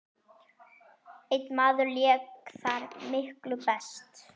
Einn maður lék þar miklu best.